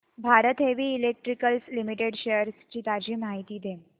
Bharat heavy electricals limited shares ची ताजी माहिती दे